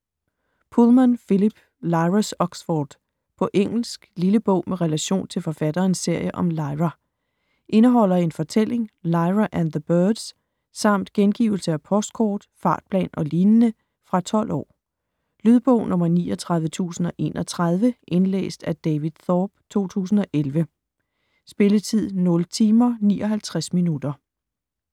Pullman, Philip: Lyra's Oxford På engelsk. Lille bog med relation til forfatterens serie om Lyra. Indeholder en fortælling: Lyra and the birds, samt gengivelse af postkort, fartplan o.l. Fra 12 år. Lydbog 39031 Indlæst af David Thorpe, 2011. Spilletid: 0 timer, 59 minutter.